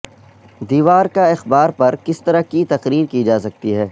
دیوار کا اخبار پر کس طرح کی تقریر کی جا سکتی ہے